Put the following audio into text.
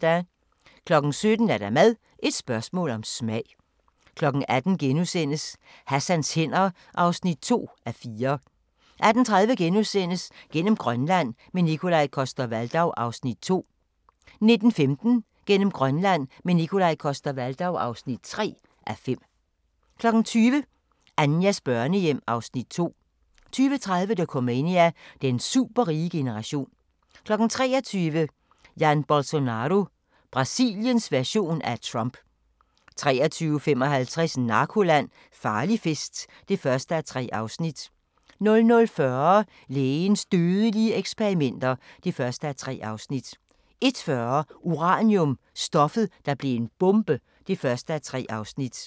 17:00: Mad – et spørgsmål om smag 18:00: Hassans hænder (2:4)* 18:30: Gennem Grønland – med Nikolaj Coster-Waldau (2:5)* 19:15: Gennem Grønland – med Nikolaj Coster-Waldau (3:5) 20:00: Anjas børnehjem (Afs. 2) 20:30: Dokumania: Den superrige generation 23:00: Jair Bolsonaro – Brasiliens version af Trump 23:55: Narkoland - Farlig fest (1:3) 00:40: Lægens dødelige eksperimenter (1:3) 01:40: Uranium – stoffet, der blev en bombe (1:3)